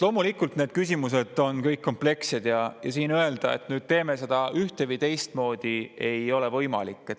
Loomulikult need küsimused on kõik komplekssed ja siin öelda, et nüüd teeme seda ühte- või teistmoodi, ei ole võimalik.